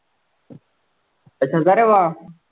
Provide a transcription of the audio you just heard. अच्छा